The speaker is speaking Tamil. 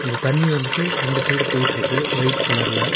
இந்த தண்ணி வந்துட்டு ரெண்டு சைடு போயிட்டுருக்கு வொய்ட் கலர்ல .